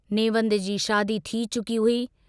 नेवंद जी शादी थी चुकी हुई।